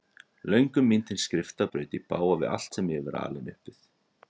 Löngun mín til skrifta braut í bága við allt sem ég var alinn upp við.